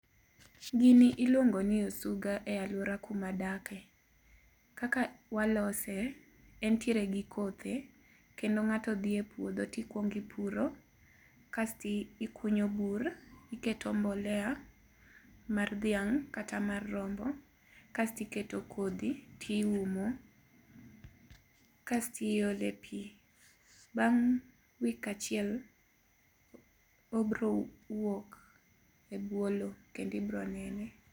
Gini iluongo ni osuga e aluora kuma adakie. Kaka walose, entiere gi kothe kendo ng'ato dhi e puodho to ikuongo ipuro, kasto ikunyo bur, iketo mbolea mar dhiang' kata mar rombo kasto iketo kodhi, tiumo kasto iole pi. Bang' wik achiel, obiro wuok e bwo lowo kendo ibiro nene.